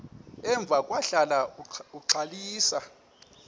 emva kwahlala uxalisa